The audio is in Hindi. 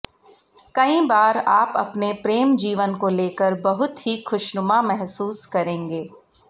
कई बार आप अपने प्रेम जीवन को लेकर बहुत ही ख़ुशनुमा महसूस करेंगे